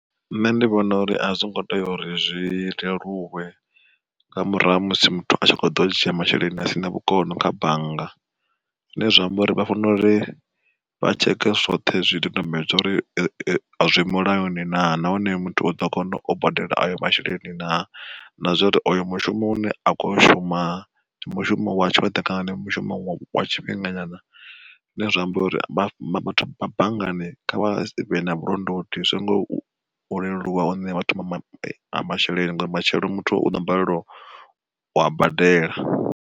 Nṋe ndi vhona uri a zwo ngo tea uri zwi leluwe, nga murahu ha musi muthu a tshi kho ḓo dzhia masheleni a sina vhukono kha bannga. Zwine zwa amba uri vha fanela uri vha tsheke zwoṱhe zwi dodombedzwa uri zwi mulayoni naa nahone muthu u ḓo kona u badela ayo masheleni na, na zwa uri oyo mushumo u ne a khou shuma mushumo wa tshoṱhe kana ndi mushumo wa tshifhinga nyana. Zwine zwa amba uri vhathu vha banngani kha vha vhe na vhulondoti, azwo ngo leluwa u ṋea vhathu masheleni ngori matshelo muthu uḓo balelwa ua badela.